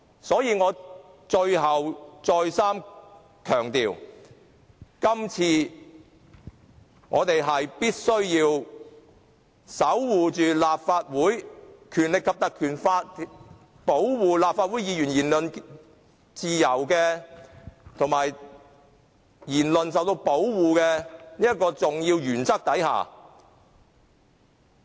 所以，我最後再三強調，今次我們必須守護《立法會條例》保護立法會議員言論自由、言論受到保護的重要原則。